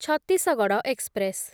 Chhattisgarh express